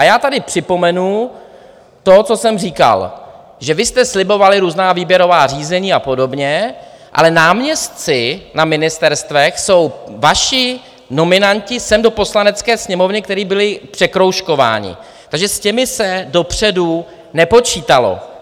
A já tady připomenu to, co jsem říkal, že vy jste slibovali různá výběrová řízení a podobně, ale náměstci na ministerstvech jsou vaši nominanti sem do Poslanecké sněmovny, kteří byli překroužkováni, takže s těmi se dopředu nepočítalo.